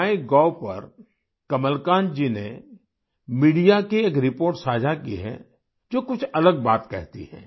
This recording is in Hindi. माइगोव पर कमलकांत जी ने मीडिया की एक रिपोर्ट साझा की है जो कुछ अलग बात कहती है